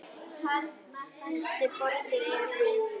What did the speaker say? Stærstu borgir eru